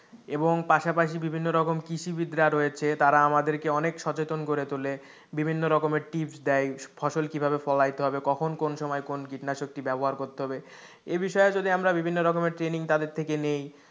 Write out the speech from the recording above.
এবং পাশাপাশি বিভিন্ন রকম কৃষিবিদ্যা রয়েছে তারা আমাদেরকে অনেক সচেতন করে তোলে বিভিন্ন রকমের tips দেয় ফসল কিভাবে ফলাইতে হবে, কখন, কোন সময় কোন কীটনাশকটি ব্যবহার করতে হবে এই বিষয়ে যদি আমরা বিভিন্ন রকম ট্রেনিং তাদের থেকে নেই,